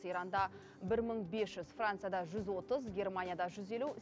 иранда бір мың бес жүз францияда жүз отыз германияда жүз елу